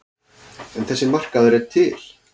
En þessi markaður er til.